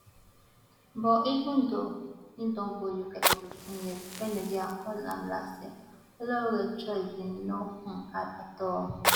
but even though im don dey uk for fifteen years wen nigeria call am last year olaore choice bin no um hard at all